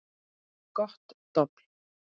Gott dobl.